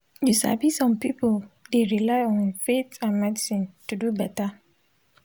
you sabi some pipul dey rely on faith and medicine to dey beta.